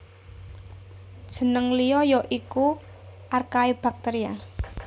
Jeneng liya ya iku Archaebacteria